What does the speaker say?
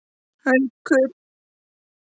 Haukar gerðu góða ferð í Bogann